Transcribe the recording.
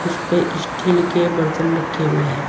उसपे स्टील के बर्तन रखे हुए हैं।